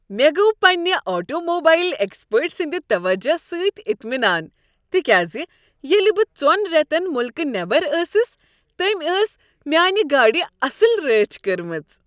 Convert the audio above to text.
مےٚ گوٚو پنٛنہ آٹوموبایل ایکسپرٹ سٕند توجہ سۭتۍ اطمینان تکیاز ییٚلہ بہٕ ژۄن ریتن ملکہٕ نیبر ٲسٕس تٔمۍ ٲس میٛانہ گاڑِ اصٕل رٲچھ کٔرمٕژ۔